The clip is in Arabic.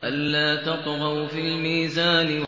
أَلَّا تَطْغَوْا فِي الْمِيزَانِ